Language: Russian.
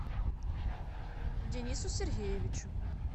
денису сергеевичу